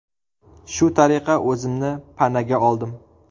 Shu tariqa o‘zimni panaga oldim.